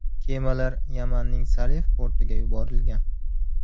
Kemalar Yamanning Salif portiga yuborilgan.